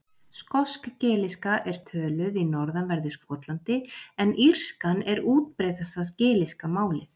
Skosk-gelíska er töluð í norðanverðu Skotlandi en írskan er útbreiddasta gelíska málið.